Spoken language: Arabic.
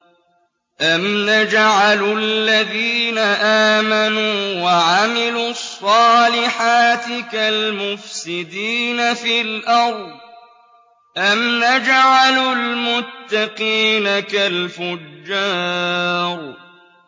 أَمْ نَجْعَلُ الَّذِينَ آمَنُوا وَعَمِلُوا الصَّالِحَاتِ كَالْمُفْسِدِينَ فِي الْأَرْضِ أَمْ نَجْعَلُ الْمُتَّقِينَ كَالْفُجَّارِ